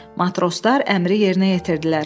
Matroslar əmri yerinə yetirdilər.